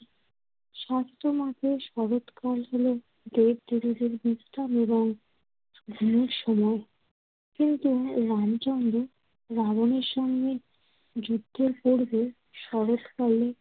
শাস্ত্রমতে, শরৎকাল হলো দেবদেবীদের বিশ্রাম এবং ঘুমের সময়। কিন্তু রামচন্দ্র রাবনের সঙ্গে যুদ্ধের পূর্বে শরৎকালে